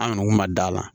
An kɔni kun ma d'a la